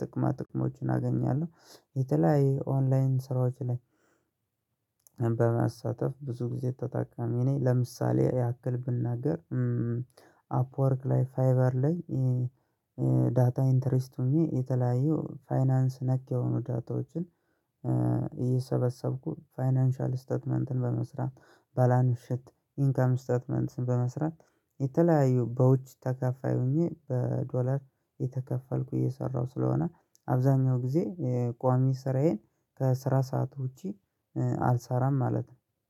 ጥቅማ ጥቅሞችን አገኛለሁ የተለያዩ ኦንላይን ስራዎች ላይ። በመሳተፍ ብዙ ጊዜ ተጠቃሚ ነኝለምሳሌ ያክል ብናገር። አፕወርክ ላይ ፋይበር ላይ ዳታ ኢንተሪስት ሆኜ የተለያየው ፋይናንስ ነክ የሆኑ ዳታዎችን። እየሰበሰብኩ ፋይናንሻል ስታትመንትን በመስራት በላንፍሸት ኢንካም ስታትመንትስን በመስራት የተለያዩ በውጭ ተከፋይ ሆኜ በዶላር የተከፈልኩ እየሰራሁ ስለሆነ። አብዛኛው ጊዜ ቋሚ ስራዬን ከስራ ሰዓት ውጪ አልሰራም ማለት ነው